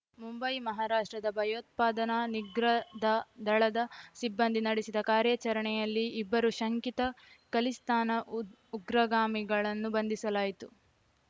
ಮುಂಬೈ ಮಹಾರಾಷ್ಟ್ರದ ಭಯೋತ್ಪಾದನಾ ನಿಗ್ರದ ದಳದ ಸಿಬ್ಬಂದಿ ನಡೆಸಿದ ಕಾರ್ಯಾಚರಣೆಯಲ್ಲಿ ಇಬ್ಬರು ಶಂಕಿತ ಖಲಿಸ್ತಾನ ಉಗ್ರಗಾಮಿಗಳನ್ನು ಬಂಧಿಸಲಾಯಿತು